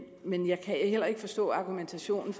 men jeg kan heller ikke forstå argumentationen